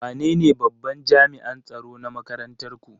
Wanene babban jami'an tsaro na makarantar ku?